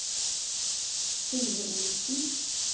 Sindre Olufsen